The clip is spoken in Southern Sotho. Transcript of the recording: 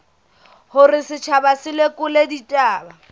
hore setjhaba se lekole ditaba